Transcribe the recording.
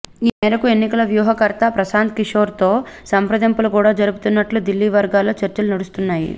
ఈ మేరకు ఎన్నికల వ్యూహకర్త ప్రశాంత్ కిశోర్తో సంప్రదింపులు కూడా జరుపుతున్నట్లు దిల్లీ వర్గాల్లో చర్చలు నడుస్తున్నాయి